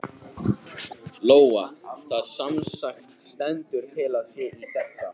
Lóa: Það semsagt stendur til að sá í þetta?